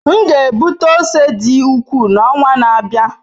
M ga-egbute ose dị ukwuu n'ọnwa na-abịa.